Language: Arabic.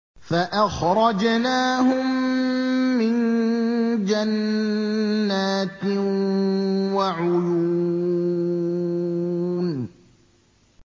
فَأَخْرَجْنَاهُم مِّن جَنَّاتٍ وَعُيُونٍ